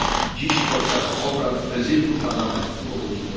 Dziś podczas obrad Prezydium Parlamentu o godz.